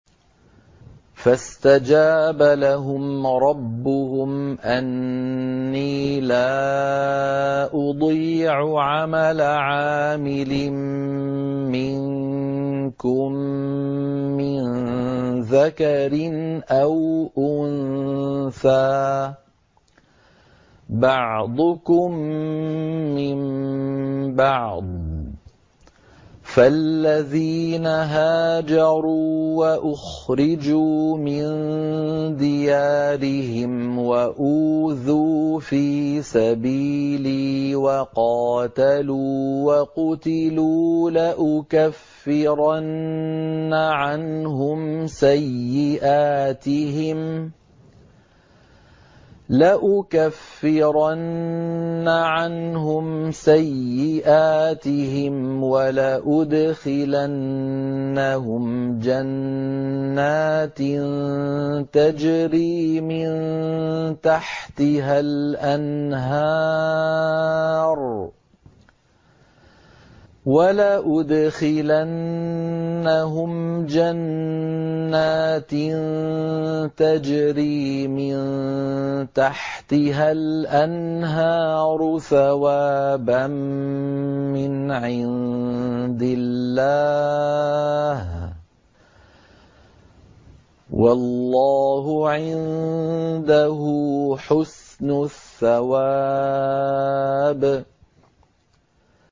فَاسْتَجَابَ لَهُمْ رَبُّهُمْ أَنِّي لَا أُضِيعُ عَمَلَ عَامِلٍ مِّنكُم مِّن ذَكَرٍ أَوْ أُنثَىٰ ۖ بَعْضُكُم مِّن بَعْضٍ ۖ فَالَّذِينَ هَاجَرُوا وَأُخْرِجُوا مِن دِيَارِهِمْ وَأُوذُوا فِي سَبِيلِي وَقَاتَلُوا وَقُتِلُوا لَأُكَفِّرَنَّ عَنْهُمْ سَيِّئَاتِهِمْ وَلَأُدْخِلَنَّهُمْ جَنَّاتٍ تَجْرِي مِن تَحْتِهَا الْأَنْهَارُ ثَوَابًا مِّنْ عِندِ اللَّهِ ۗ وَاللَّهُ عِندَهُ حُسْنُ الثَّوَابِ